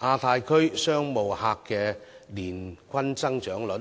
亞太區商務客的年均增長率，